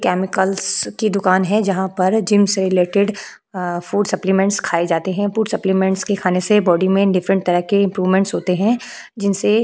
chemicals की दुकान है जहां पर जिम से रिलेटेड अ फूड सप्लीमेंट्स खाए जाते हैं फूड सप्लीमेंट्स खाने से बॉडी में डिफरेंट तरह के इंप्रूवमेंट होते हैं जिनसे --